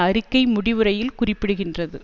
அறிக்கை முடிவுரையில் குறிப்பிடுகின்றது